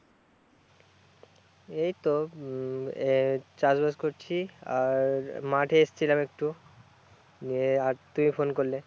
এইতো উম এ চাষবাস করছি আর মাঠে এসেছিলাম একটু এর আর তুমি ফোন করলে